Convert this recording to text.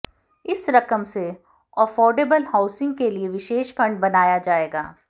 इस रकम से अफोर्डेबल हाउसिंग के लिए विशेष फंड बनाया जाएगा